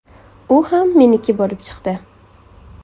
U ham ‘meniki’ bo‘lib chiqdi.